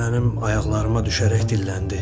mənim ayaqlarıma düşərək dilləndi.